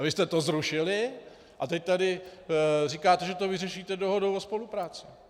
A vy jste to zrušili a teď tady říkáte, že to vyřešíte dohodou o spolupráci.